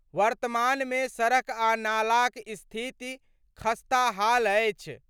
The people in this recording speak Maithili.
वर्तमानमे सड़क आ नालाक स्थिति खस्ताहाल अछि।